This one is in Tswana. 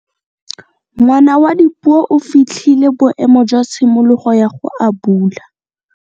Ngwana wa Dipuo o fitlhile boêmô jwa tshimologô ya go abula.